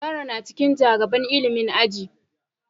Zara na cikin ja gaban ilimin aji.